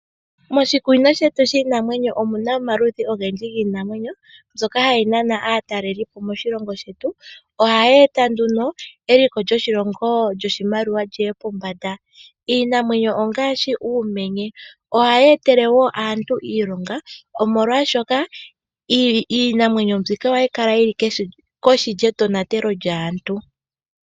Moshikunino shetu shiinamwenyo omu na omaludhi ogendji giinamwenyo mbyoka hayi nana aatalelipo moshilongo shetu. Ohaye eta nduno eliko lyoshilongo lyoshimaliwa li ye pombanda. Iinamwenyo ongaashi uumenye. Ohayi etele woo aantu iilonga, molwashoka iinamwenyo mbika ohayi kala yi li kohi yetonatelo lyaantu.